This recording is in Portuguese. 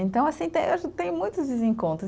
Então, assim tem, tem muitos desencontros.